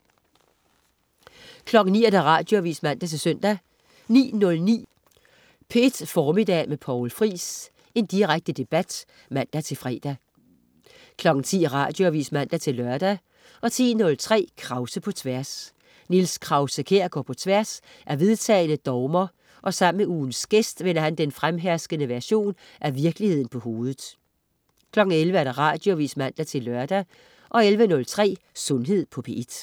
09.00 Radioavis (man-søn) 09.09 P1 Formiddag med Poul Friis. Direkte debat (man-fre) 10.00 Radioavis (man-lør) 10.03 Krause på Tværs. Niels Krause-Kjær går på tværs af vedtagne dogmer, og sammen med ugens gæst vender han den fremherskende version af virkeligheden på hovedet 11.00 Radioavis (man-lør) 11.03 Sundhed på P1